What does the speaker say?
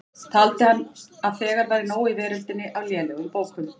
Taldi hann að þegar væri nóg í veröldinni af lélegum bókum.